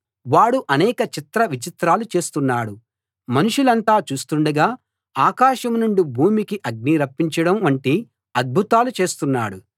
వాడు అనేక చిత్ర విచిత్రాలు చేస్తున్నాడు మనుషులంతా చూస్తుండగా ఆకాశం నుండి భూమికి అగ్ని రప్పించడం వంటి అద్భుతాలు చేస్తున్నాడు